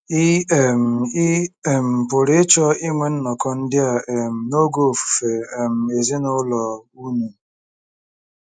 Ị um Ị um pụrụ ịchọ inwe nnọkọ ndị a um n'oge Ofufe um Ezinụlọ unu.